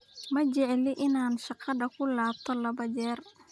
Ma jecli in aan shaqada kulabto labo jeer.